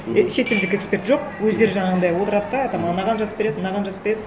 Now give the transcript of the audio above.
ы шетелдік эксперт жоқ өздері жаңағындай отырады да там анаған жазып береді мынаған жазып береді